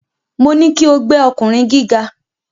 Mo ní kí o gbẹ́ ọkùnrin gíga.